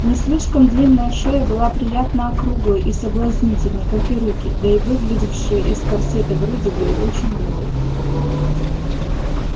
не слишком длинная шея была приятно округлой и соблазнительной как и руки да и выглядывавшие из корсета груди были очень милы